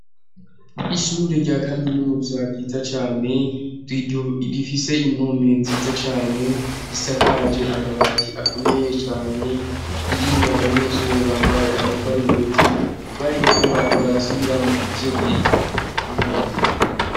Ishure rya kaminuza ryiza cane, rifise impome nziza cane ,risakaje amabati akomeye cane ,ririmw' abanyeshure bambaye amasarubeti bariko barasubiramwo ivyo biripe mu nyabiriko.